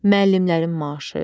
Müəllimlərin maaşı.